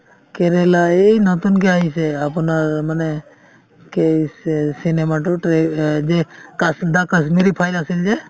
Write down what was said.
কেৰেলা এই নতুনকে আহিছে আপোনাৰ মানে কেই চি~ cinema তোত ৰে the কাশ্মীৰ files আছিল যে